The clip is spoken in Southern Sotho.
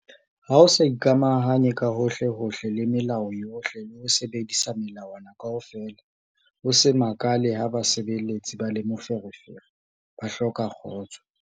Ha o sa ikamahanye ka hohlehohle le melao yohle le ho sebedisa melawana kaofela, o se makale ha basebeletsi ba le moferefere, ba hloka kgotso.